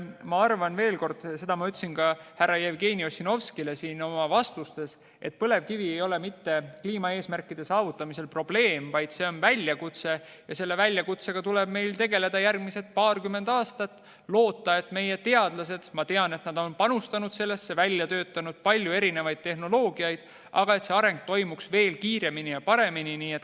Ma arvan veel kord – seda ma ütlesin ka härra Jevgeni Ossinovskile vastates –, et põlevkivi ei ole mitte kliimaeesmärkide saavutamisel probleem, vaid see on väljakutse ja selle väljakutsega tuleb meil tegeleda järgmised paarkümmend aastat ning loota, et meie teadlased panustavad sellesse ja töötavad välja palju erinevaid tehnoloogiaid, et see areng toimuks veel kiiremini ja paremini.